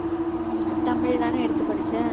ஹம் தமிழ் தானே எடுத்து படிச்ச